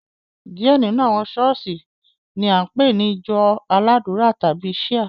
Diẹ nínú àwọn ṣọ̀ọ́sì ni a npe ni ìjọ aládùra tàbi Shia.